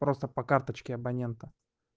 просто по карточке абонента